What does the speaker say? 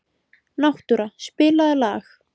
Náttúra, spilaðu lag.